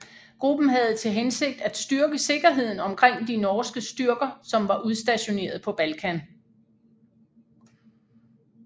Gruppen havde til hensigt at styrke sikkerheden omkring de norske styrker som var udstationeret på Balkan